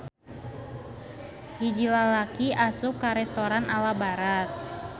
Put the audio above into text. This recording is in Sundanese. Hiji lalaki asup ka restoran ala Barat.